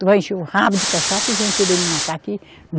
Tu vai encher o rabo de cachaça e vem querer me matar aqui.